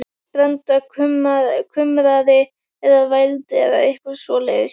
Branda kumraði eða vældi, eða eitthvað svoleiðis.